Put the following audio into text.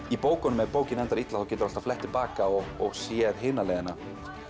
í bókunum ef bókin endar illa þá geturðu alltaf flett til baka og og séð hina leiðina